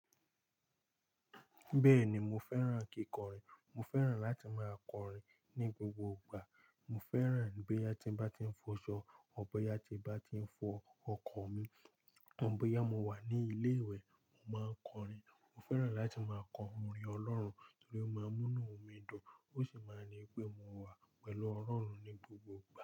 Bẹ́ẹ̀ni mo fẹ́ràn kíkọrin, mo fẹ́ràn láti máa kọrin ní gbogbo ìgbà. Mo fẹ́ràn bóyá tí n bá tí ń fọṣọ or bóyá tí n bá tí ń fọ ọkọ̀ mi, um bóyá mo wà ní ilé ìwẹ̀, mo máa ń kọrin. Mo fẹ́ràn láti máa kọ orin Ọlọ́run torí ó máa ń mú mí dùn, ó sì máa ń ní pé mo wà pẹ̀lú Ọlọ́run ní gbogbo ìgbà.